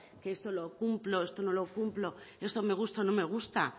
que esto lo cumplo esto no lo cumplo y esto me gusta o no me gusta